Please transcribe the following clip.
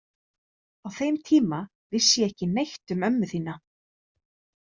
Á þeim tíma vissi ég ekki neitt um ömmu þína.